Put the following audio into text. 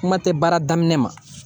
Kuma tɛ baara daminɛ ma